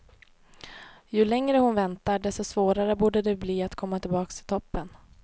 Ju längre hon väntar, desto svårare borde det bli att komma tillbaka i toppen.